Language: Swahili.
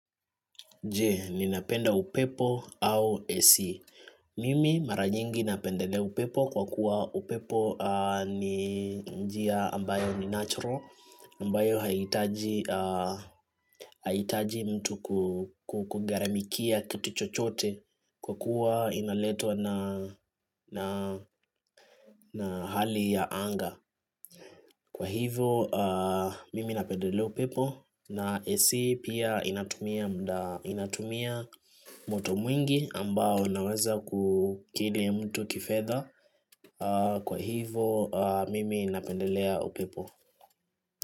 Je, ninapenda upepo au AC. Mimi mara nyingi napendele upepo kwa kuwa upepo ni njia ambayo ni natural, ambayo haihitaji mtu kugaramikia kitu chochote kwa kuwa inaletwa na hali ya anga. Kwa hivyo mimi napendelea upepo na AC pia inatumia moto mwingi ambao unaweza kukili mtu kifedha. Kwa hivyo mimi napendelea upepo.